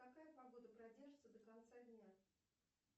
какая погода продержится до конца дня